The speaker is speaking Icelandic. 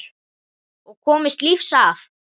Og komist lífs af.